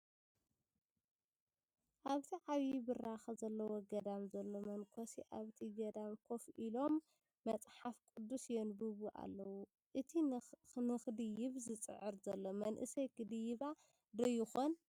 ኣብቲ ዓብዪ ብራከ ዘለዎ ገዳም ዘለዉ መነኮሴ ኣብቲ ገዳም ኮፍ ኢሎም መፅሓፍ ቅዱስ የንብቡ ኣለዉ፡፡ እቲ ንክድይብ ዝፅዕር ዘሎ መንእሰይ ክድይባ ዶ ይኸውን?